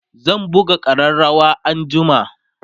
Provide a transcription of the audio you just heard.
zan buga ƙararawa anjima